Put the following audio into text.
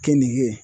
Keninge